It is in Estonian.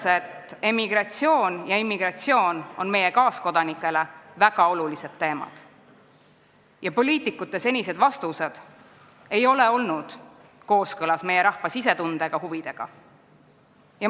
See ütleb, et emigratsioon ja immigratsioon on meie kaaskodanikele väga olulised teemad ning poliitikute senised vastused ei ole olnud meie rahva sisetunde ega huvidega kooskõlas.